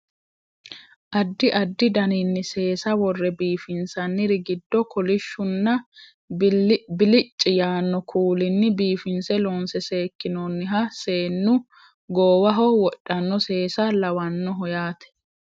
addi addi daninni seesa worre biifinsanniri giddo kolishshunna bilicci yaanno kuulinni biifinse loonse seekkinoonniha seennu goowaho wodhanno seesa lawannoho yaate